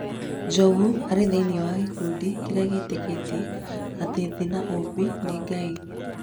Njogu arĩ thĩiniĩ wa gĩkundĩ- inĩ kĩrĩa gĩtĩkĩtie atĩ thĩ na ũmbi nĩ ngai.